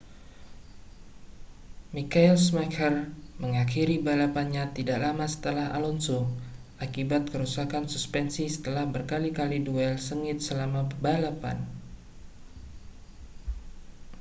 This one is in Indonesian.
michael schumacher mengakhiri balapannya tidak lama setelah alonso akibat kerusakan suspensi setelah berkali-kali duel sengit selama balapan